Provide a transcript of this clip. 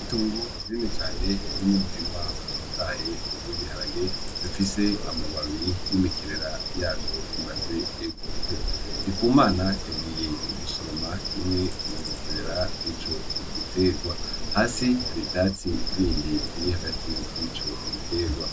Itongo rinini cane ririmwo umurima utotahaye w'ibiharage bifise ama babi n'imikerera yavyo imaze gukura Ndikumana yagiye gusoroma imwe mu mikerera yico giterwa, Hasi hari ivyatsi bindi biri hagati yico giterwa.